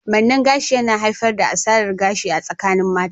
Manne gashi yana haifar da asarar gashi a tsakanin mata.